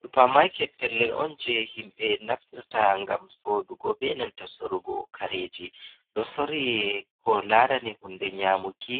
Supa maket pellen on je himbe naftirta ngam soɗugo ɓe nanta sorrugo kareji. Ɗo sorri ko larani hunɗe nyamuki,